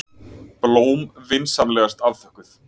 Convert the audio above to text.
Blóm vinsamlegast afþökkuð.